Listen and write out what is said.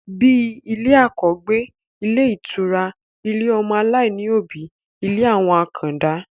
Bíi ilé àkọ́gbé, ilé ìtura, ilé ọmọ aláìní òbí, ilé àwọn àkàndá